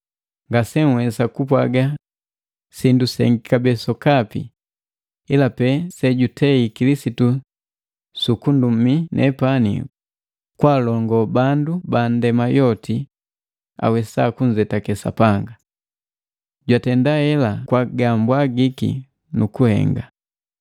Ngase nhwesa kupwaga sindu sengi kabee sokapi, ila pe sejutei Kilisitu sukundumi nepani kwa alongo bandu banndema yoti awesa kunzetake Sapanga. Jatenda hela kwa gala ga mbwagiki nukuhenga,